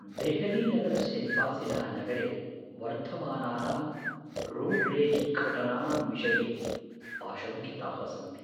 देहलीनगरस्य निवासिनः नगरे वर्धमानानां रोड् रेज् घटनानां विषये आशङ्किताः सन्ति।